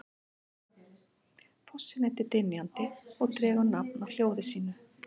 Fossinn heitir Dynjandi og dregur nafn af hljóði sínu.